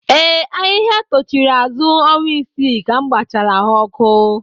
Ee, ahịhịa tochiri azụ ọnwa isii ka m gbachara ha ọkụ